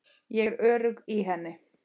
Ég er örugg í henni.